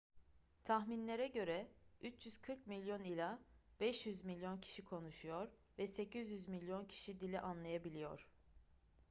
tahminlere göre 340 milyon ila 500 milyon kişi konuşuyor ve 800 milyon kişi dili anlayabiliyor